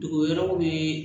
Dogo yɔrɔw bɛ